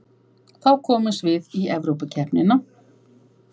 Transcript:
Þá komumst við í Evrópukeppnina